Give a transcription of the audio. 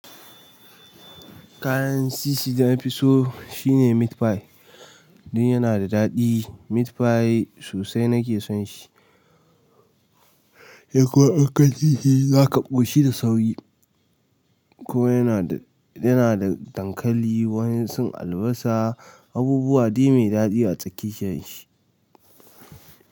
Kayan titi da nafi so shine meat pie. Dan yana da daɗi. Meat pie sosai nake son shi. Ekwa idan ka ci shi zaka ƙoshi da sauri. Ko yana da, yana da dankali, waƴansu albasa, abubuwa dai mai daɗi a tsakiyar shi.